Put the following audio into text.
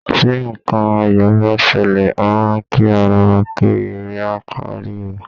Tí nǹkan ayọ̀ bá ṣẹlẹ̀, a máà ń kí ara wa pé ire á kárí o.